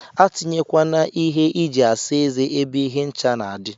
Atinye kwana ihe iji asa eze ebe ihe ncha na adi.